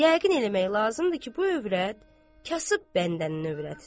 Yəqin eləmək lazımdır ki, bu övrət kasıb bəndənin övrətidir.